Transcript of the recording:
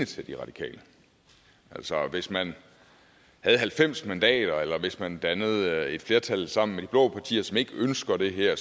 til de radikale altså hvis man havde halvfems mandater eller hvis man dannede et flertal sammen med de blå partier som ikke ønsker det her